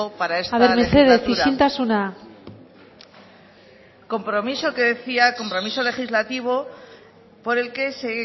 para esta legislatura mesedez isiltasuna compromiso legislativo por el que se